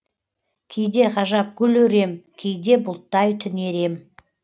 кейде ғажап гүл өрем кейде бұлттай түнерем